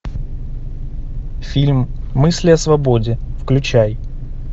фильм мысли о свободе включай